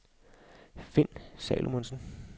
Finn Salomonsen